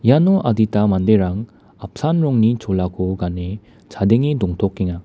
iano adita manderang apsan rongni cholako gane chadenge dongtokenga.